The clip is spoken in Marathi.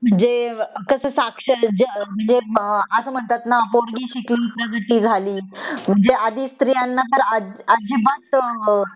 म्हणजे कस साक्षर जग अस म्हणतात न पोरगी शिकली प्रगती झाली म्हणजे आधी स्त्रीयांना तर अजिबात अ